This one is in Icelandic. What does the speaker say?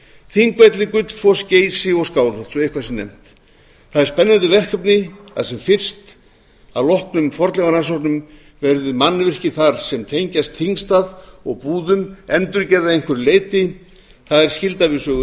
þingvelli gullfoss geysi og skálholt svo eitthvað sé nefnt það er spennandi verkefni að sem fyrst að loknum fornleifarannsóknum verði mannvirki þar sem tengjast þingstað og búðum endurgerð að einhverju leyti það er skylda við sögu